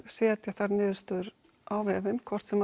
setja þær niðurstöður á veginn hvort sem